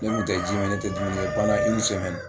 Ne kun tɛ ji min ne tɛ dumuni kɛ